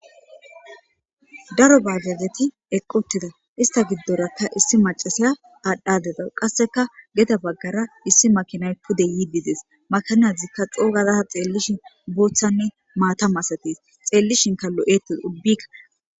Daro baagageti eqoteda ista giddorakka issi macasaya aadhdhadeda qasseka geta baggara issi makinay pude yiibides makanazikka xoogazaa xeellishin booththanne maatamasates xeellishinka lo'ettes ubbikka.